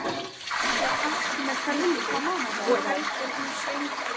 Fer það allt með felldu, og elur hún sveinbarn.